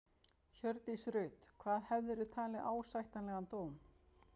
Hjördís Rut: Hvað hefðirðu talið ásættanlegan dóm?